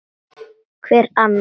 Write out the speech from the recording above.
Hver annar?